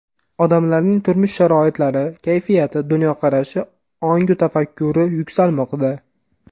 Odamlarning turmush sharoitlari, kayfiyati, dunyoqarashi, ongu tafakkuri yuksalmoqda.